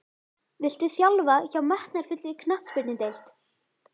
Viltu þjálfa hjá metnaðarfullri knattspyrnudeild?